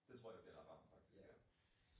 Det tror jeg bliver ret varmt faktisk ja